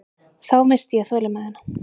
Þá missti ég þolinmæðina.